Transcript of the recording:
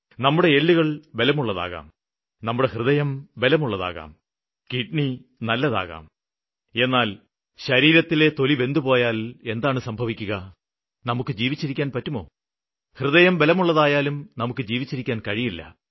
നമ്മുടെ എല്ലുകള് ബലമുള്ളതാകാം നമ്മുടെ ഹൃദയം ബലമുള്ളതാകാം കിഡ്നി നല്ലതാകാം എന്നാല് ശരീരത്തിന്റെ തൊലി വെന്തുപോയാല് എന്താണ് സംഭവിക്കുക നമുക്ക് ജീവിച്ചിരിക്കാന് പറ്റുമോ ഹൃദയം ബലമുള്ളതായാലും നമുക്ക് ജീവിച്ചിരിക്കാന് കഴിയില്ല